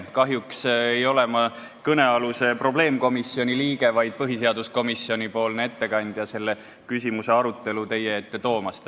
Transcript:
Kahjuks ei ole ma kõnealuse probleemkomisjoni liige, vaid põhiseaduskomisjoni ettekandja, kes selle küsimuse arutelu teie ette toob.